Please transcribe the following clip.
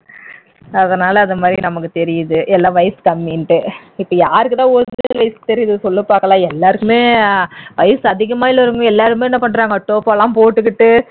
அதனால இந்த மாதிரி நமக்கு தெரியுது எல்லாம் வயசு கம்மின்னுட்டு இப்ப யாருக்கு தான் original வயசு தெரியுது சொல்லு பாக்கலாம் எல்லாருக்குமே வயசு அதிகமா உள்ளவங்க எல்லாருமே என்ன பண்றாங்க டோபோ எல்லாம் போட்டுக்கிட்டு